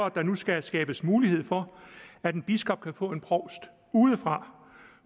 at der nu skal skabes mulighed for at en biskop kan få en provst udefra